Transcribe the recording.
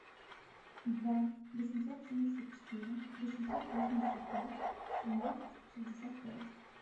два восемьсот семьдесят четыре восемьсот восемьдесят пять семнадцать шестьдесят пять